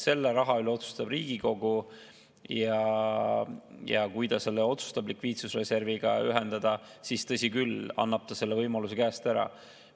Selle raha üle otsustab Riigikogu ja kui ta otsustab selle likviidsusreserviga ühendada, siis, tõsi küll, annab ta selle võimaluse käest ära.